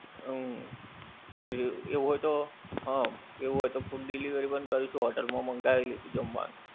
હમ એવું હોય તો હમ full delivery બંધ કરીશું hotel મા મંગાવી લઈશું જમવાનું